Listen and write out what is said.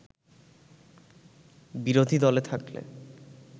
বিরোধী দলে থাকলে